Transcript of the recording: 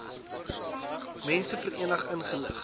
mense verenig ingelig